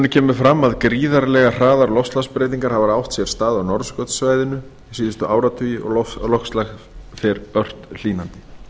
kemur fram að gríðarlega hraðar loftslagsbreytingar hafa átt sér stað á norðurskautssvæðinu síðustu áratugi og loftslag fer ört hlýnandi